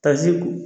Kaze